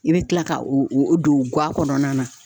I be kila ka o o don ŋa kɔnɔna na